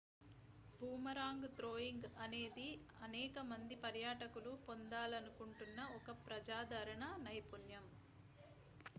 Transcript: boomerang throwing అనేది అనేక మంది పర్యాటకులు పొందాలనుకుంటున్న ఒక ప్రజాదరణ నైపుణ్యం